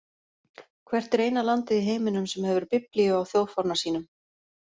Hvert er eina landið í heiminum sem hefur biblíu á þjóðfána sínum?